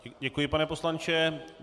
Děkuji, pane poslanče.